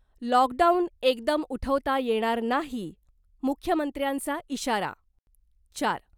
Lockdown एकदम उठवता येणार नाही , मुख्यमंत्र्यांचा इशारा चार.